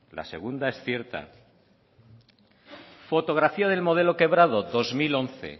la segunda es cierta fotografía del modelo quebrado dos mil once